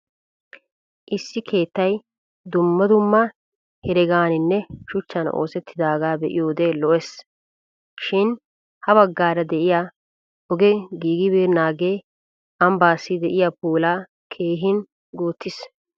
Issi keettay dumma dumma heregaaninne shuchchan oosettaagaa be'iyoode lo'es. Shin ha baggaara diya ogee giigibeennaagee ambbaassi de'iyaa puulaa keehin guuttis.